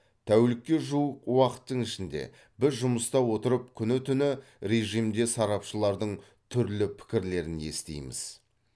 тәулікке жуық уақыттың ішінде біз жұмыста отырып күні түні режимде сарапшылардың түрлі пікірлерін естиміз